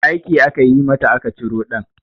Aiki aka yi mata aka ciro ɗan